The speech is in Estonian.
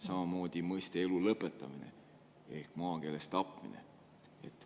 Samamoodi mõiste "elu lõpetamine" ehk maakeeles "tapmine"?